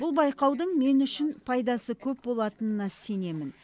бұл байқаудың мен үшін пайдасы көп болатынына сенемін